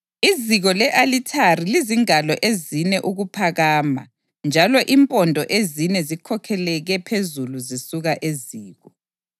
Iziko le-alithari lizingalo ezine ukuphakama njalo impondo ezine zikhokhekele phezulu zisuka eziko.